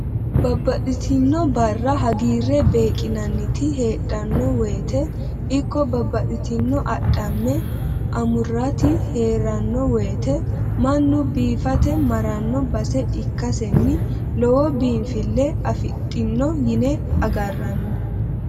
Babbaxxitino bare hagiire beeqinanniti heedhano woyte ikko babbaxxitinoti adhamate amurati heerano woyte mannu biifate marrano base ikkaseni lowo biinfile afidhano yine agarranni.